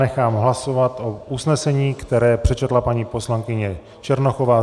Nechám hlasovat o usnesení, které přečetla paní poslankyně Černochová.